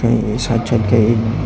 ee sat sat ke een.